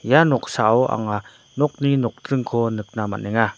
ia noksao anga nokni nokdringko nikna man·enga.